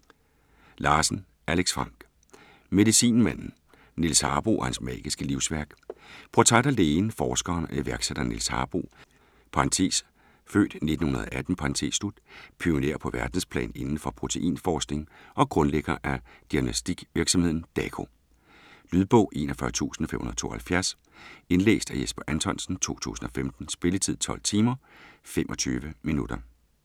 Larsen, Alex Frank: Medicinmanden: Niels Harboe og hans magiske livsværk Portræt af lægen, forskeren og iværksætteren Niels Harboe (f. 1918), pioner på verdensplan inden for proteinforskning og grundlægger af diagnostikvirksomheden Dako. Lydbog 41572 Indlæst af Jesper Anthonsen, 2015. Spilletid: 12 timer, 25 minutter.